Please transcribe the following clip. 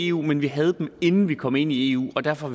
eu men vi havde dem inden vi kom ind i eu og derfor